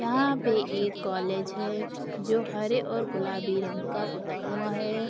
यहाँ पे एक कोलेज है जो हरे और गुलाबी रंग का पुता हुआ है।